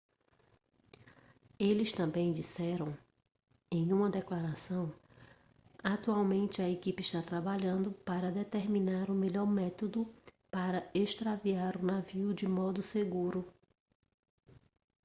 eles também disseram em uma declaração atualmente a equipe está trabalhando para determinar o melhor método para extrair o navio de modo seguro